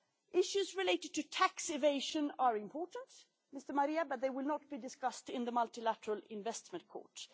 Issues related to tax evasion are important, Mr Marias, but they will not be discussed in the Multilateral Investment Court.